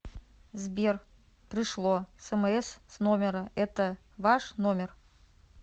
сбер пришло смс с номера это ваш номер